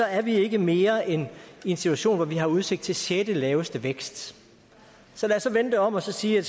er vi ikke mere end i en situation hvor vi har udsigt til sjettelaveste vækst så lad os vende det om og sige at